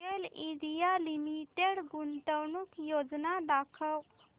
गेल India limited गुंतवणूक योजना दाखव